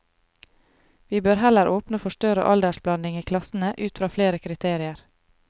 Vi bør heller åpne for større aldersblanding i klassene ut fra flere kriterier.